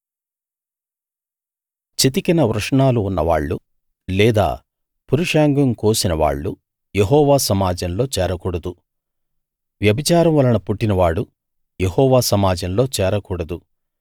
చితికిన వృషణాలు ఉన్నవాళ్ళు లేదా పురుషాంగం కోసిన వాళ్ళు యెహోవా సమాజంలో చేరకూడదు వ్యభిచారం వలన పుట్టినవాడు యెహోవా సమాజంలో చేరకూడదు